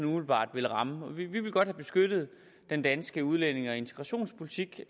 umiddelbart vil ramme vi vil godt have beskyttet den danske udlændinge og integrationspolitik